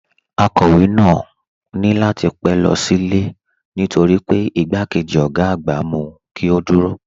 Akọ̀wé náà ní láti lọ sílé ni típetípẹ́ nítorí pé igbákejì ọ̀gá àgbà mú kí ó dúró